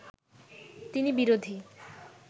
তিনি বিরোধী